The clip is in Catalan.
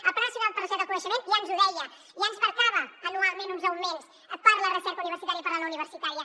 el pla nacional per a la recerca i el coneixement ja ens ho deia ja ens marcava anualment uns augments per a la recerca universitària per a la no universitària